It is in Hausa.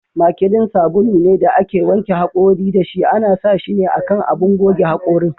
Makilin sabulu ne da ake wanke hakori da shi ,ana sa shine a kan abun goge hakorin.